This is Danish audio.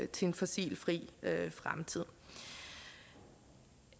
til en fossilfri fremtid